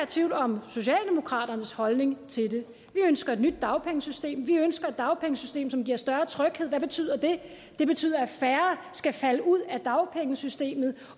tvivl om socialdemokraternes holdning til det vi ønsker et nyt dagpengesystem vi ønsker et dagpengesystem som giver større tryghed hvad betyder det det betyder at færre skal falde ud af dagpengesystemet